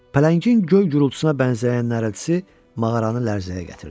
Pələngin göy gurultusuna bənzəyən nərəltisi mağaranı lərzəyə gətirdi.